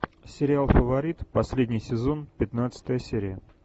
сериал фаворит последний сезон пятнадцатая серия